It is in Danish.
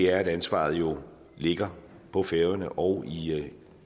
er at ansvaret jo ligger på færøerne og